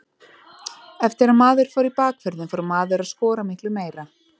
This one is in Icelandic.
Eftir að maður fór í bakvörðinn fór maður að skora miklu meira.